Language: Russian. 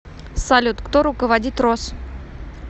салют кто руководит рос